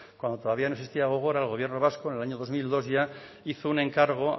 cuando todavía no existía gogora el gobierno vasco en el año dos mil dos ya hizo un encargo